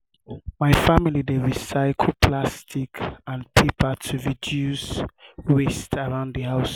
my family dey recycle plastic and paper to reduce to reduce waste around the house.